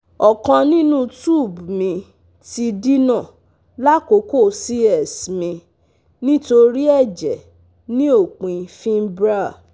ọkan ninu tube mi ti dina lakoko c/s mi nitori ẹjẹ ni opin fimbrial